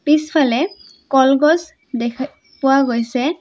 পিছফালে কলগছ দেখা পোৱা গৈছে।